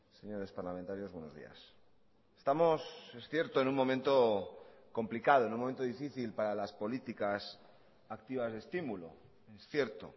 señores parlamentarios buenos días estamos es cierto en un momento complicado en un momento difícil para las políticas activas de estímulo es cierto